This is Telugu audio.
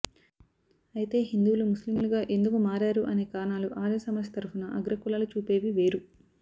అయితే హిందువులు ముస్లిములుగా ఎందుకు మారారు అనే కారణాలు ఆర్య సమాజ్ తరఫున అగ్రకులాలు చూపేవి వేరు